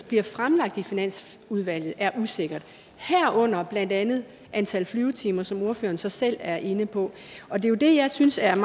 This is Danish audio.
bliver fremlagt i finansudvalget er usikkert herunder blandt andet antal flyvetimer som ordføreren så selv er inde på og det er jo det jeg synes er